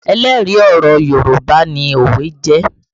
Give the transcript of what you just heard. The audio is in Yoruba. Ẹlẹ́rìí ọ̀rọ̀ Yorùbá ni òwe jẹ́